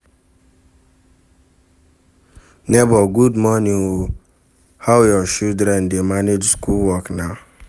Nebor good morning o, how your children dey manage school work na?